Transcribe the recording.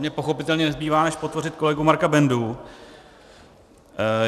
Mně pochopitelně nezbývá než podpořit kolegu Marka Bendu.